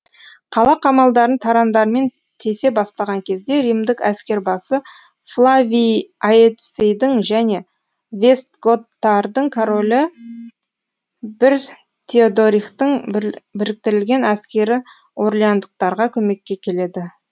қала қамалдарын тарандармен тесе бастаған кезде римдік әскербасы флавий аэцийдің және вестготтардың королі бір теодорихтың біріктірілген әскері орлеандықтарға көмекке келеді